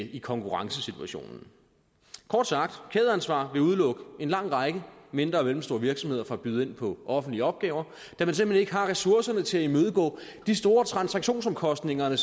i konkurrencesituationen kort sagt kædeansvar vil udelukke en lang række mindre og mellemstore virksomheder fra at byde ind på offentlige opgaver da man simpelt hen ikke har ressourcerne til at imødegå de store transaktionsomkostninger